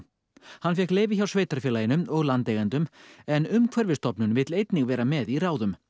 hann fékk leyfi hjá sveitarfélaginu og landeigendum en Umhverfisstofnun vill einnig vera með í ráðum